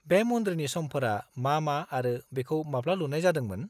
-बे मन्दिरनि समफोरा मा मा आरो बेखौ माब्ला लुनाय जादोंमोन?